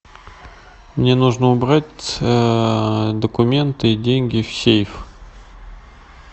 мне нужно убрать документы и деньги в сейф